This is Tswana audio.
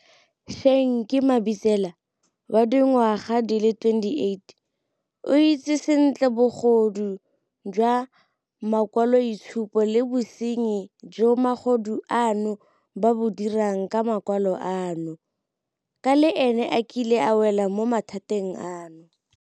Shenki Mabitsela, wa dingwaga di le 28, o itse sentle bogodu jwa makwaloitshupo le bosenyi jo magodu ano ba bo dirang ka makwalo ano, ka le ene a kile a wela mo mathateng ano.